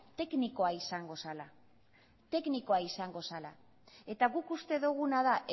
teknikoa izango zela teknikoa izango zela eta guk uste duguna da